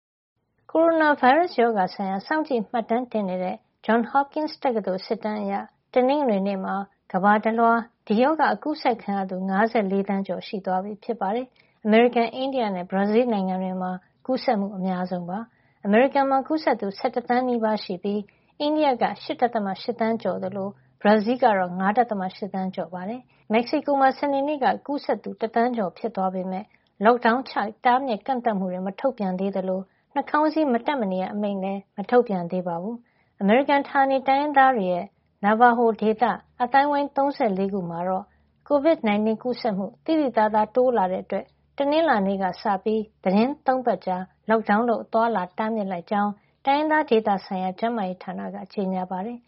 ကိုရိုနာဗိုင်းရပ်စ်ရောဂါဆိုင်ရာ စောင့်ကြည့်မှတ်တမ်းတင်နေတဲ့ Johns Hopkins တက္ကသိုလ် စစ်တမ်းအရ တနင်္ဂနွေနေ့မှာ ကမ္ဘာတလွှား ဒီရောဂါ ကူးစက်ခံရသူ ၅၄ သန်းကျော်သွားပြီ ဖြစ်ပါတယ်။ အမေရိကန်၊ အိန္ဒိယနဲ့ ဘရာဇီးလ်နိုင်ငံတွေမှာ ကူးစက်မှု အများဆုံး ဖြစ်ပါတယ်။ အမေရိကန်မှာ ကူးစက်သူ ၁၁ သန်းနီးပါးရှိပြီး အိန္ဒိယက ၈.၈ သန်းကျော်ရှိသလို ဘရာဇီးလ်ကတော့ ၅.၈ သန်းကျော် ရှိနေတာပါ။ အိန္ဒိယမှာ တနင်္ဂနွေနေ့က တရက်အတွင်း ကူးစက်ခံရသူ ၄၀,၀၀၀ ကျော်ရှိပါတယ်။ မက္ကဆီကိုမှာ စနေနေ့က ဒီရောဂါကူးစက်သူ တသန်းကျော်ဖြစ်သွားပေမယ့် Lockdown ချ တားမြစ်ကန့်သတ်မှုတွေ မထုတ်ပြန်သေးသလို နှာခေါင်းစည်း မတပ်မနေရအမိန့်လည်း မထုတ်ပြန်ပါဘူး။ အမေရိကန် ဌာနေတိုင်းရင်းသားတွေရဲ့ Navajo ဒေသ အသိုင်းအဝိုင်း ၃၄ ခုမှာတော့ COVID-19 ကူးစက်မှု သိသိသာသာ တိုးလာတာကြောင့် တနင်္လာနေ့ကစပြီး သီတင်း ၃ ပတ်ကြာ Lockdown လုပ် အသွားအလာ တားမြစ်လိုက်ကြောင်း တိုင်းရင်းသားဒေသဆိုင်ရာ ကျန်းမာရေးဌာနက ကြေညာပါတယ်။